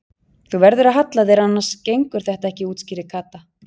Þú verður að halla þér annars gengur þetta ekki útskýrði Kata.